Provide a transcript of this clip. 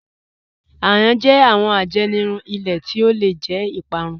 Àyàn jẹ́ awọn àjẹnìrún ilẹ̀ tó lẹ̀ jẹ́ ìpárún.